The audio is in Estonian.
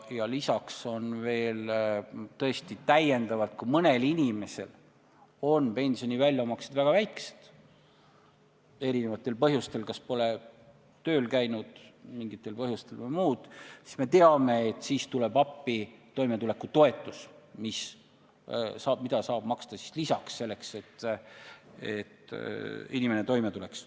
Ja lisaks, kui mõnel inimesel on pensioni väljamaksed väga väiksed – selleks võib olla erinevaid põhjusi, näiteks pole mingil põhjusel tööl käidud või muud –, siis me teame, et sel juhul tuleb appi toimetulekutoetus, mida saab maksta lisaks, et inimene toime tuleks.